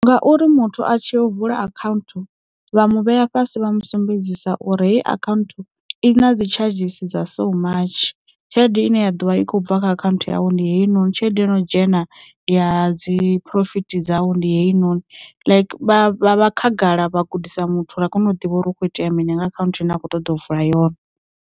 Ngauri muthu a tshi u vula akhaunthu vha mu vhea fhasi vha musumbedzisa uri heyi account i na dzi tshadzhisi dza so much, tshelede ine ya ḓovha i khou bva kha akhanthu yau ndi heyinoni, tshelede ino dzhena ya dzi phurofiti dzau ndi heyi noni like vha khagala vha gudisa muthu uri a kone u ḓivha uri hukho itea mini nga akhanthu ane a kho ṱoḓa u vula yone.